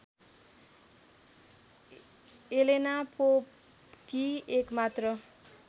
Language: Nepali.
एलेना पोपकी एकमात्र